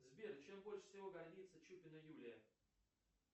сбер чем больше всего гордится чупина юлия